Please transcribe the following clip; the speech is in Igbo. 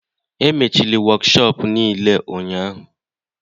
Emechili wokshop niile ụnyahụ